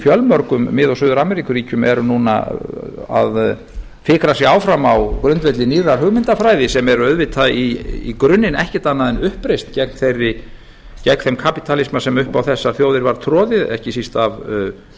fjölmörgum mið og suður ameríkuríkjum eru núna að fikra sig áfram á grundvelli nýrrar hugmyndafræði sem er auðvitað í grunninn ekkert annað en uppreisn gegn þeim kapítalisma sem upp á þessar þjóðir var troðið ekki síst af